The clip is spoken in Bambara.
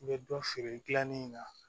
I bɛ dɔ feere gilanni na